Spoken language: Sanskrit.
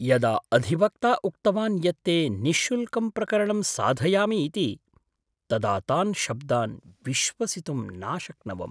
यदा अधिवक्ता उक्तवान् यत् ते निःशुल्कं प्रकरणं साधयामि इति तदा तान् शब्दान् विश्वसितुं नाशक्नवम्।